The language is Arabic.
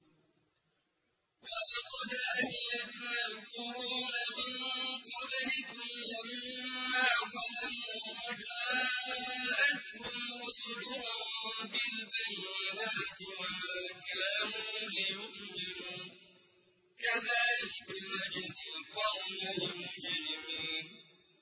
وَلَقَدْ أَهْلَكْنَا الْقُرُونَ مِن قَبْلِكُمْ لَمَّا ظَلَمُوا ۙ وَجَاءَتْهُمْ رُسُلُهُم بِالْبَيِّنَاتِ وَمَا كَانُوا لِيُؤْمِنُوا ۚ كَذَٰلِكَ نَجْزِي الْقَوْمَ الْمُجْرِمِينَ